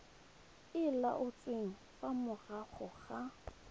e laotsweng fa morago ga